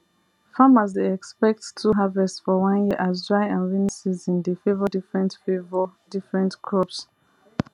farmers dey expect two harvest for one year as dry and rainy season dey favour different favour different crops